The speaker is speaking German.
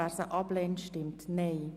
Wer sie ablehnt, stimmt Nein.